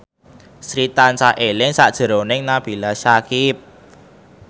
Sri tansah eling sakjroning Nabila Syakieb